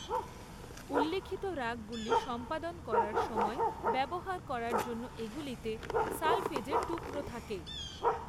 উল্লিখিত রাগগুলি সম্পাদন করার সময় ব্যবহার করার জন্য এগুলিতে সলফেজের টুকরো থাকে।